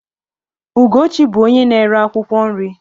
Ugochi bú onye na-ere akwụkwọ nri